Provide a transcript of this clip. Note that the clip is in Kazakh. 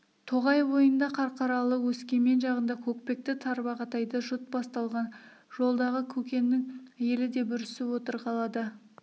тоғай бойында қарқаралы өскемен жағында көкпекті тарбағатайда жұт басталған жолдағы көкеннің елі де бүрісіп отыр қалада